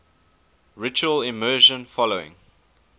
ritual immersion following